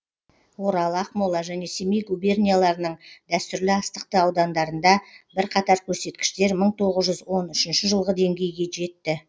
орал ақмола және семей губернияларының дәстүрлі астықты аудандарында бірқатар көрсеткіштер мың тоғыз жүз он үшінші жылғы деңгейге жетті